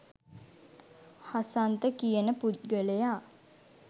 හසන්ත කියන පුද්ගලයා